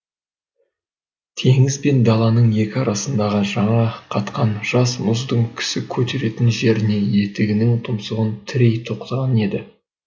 теңіз бен даланың екі арасындағы жаңа қатқан жас мұздың кісі көтеретін жеріне етігінің тұмсығын тірей тоқтаған еді